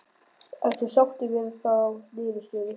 Ertu sáttur við þá niðurstöðu?